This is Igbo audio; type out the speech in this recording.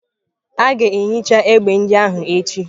A ga-ehicha egbe ndị ahụ echi.